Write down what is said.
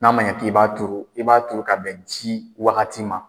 N'a man ɲɛ k'i b'a turu i b'a turu ka bɛn ji wagati ma.